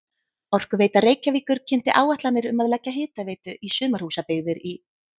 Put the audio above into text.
Orkuveita Reykjavíkur kynnti áætlanir um að leggja hitaveitu í sumarhúsabyggðir í